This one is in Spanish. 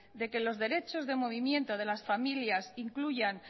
de que los derechos de movimiento de las familias incluyan